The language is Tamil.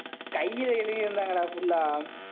கையில எழுதி இருந்தாங்கடா full ஆ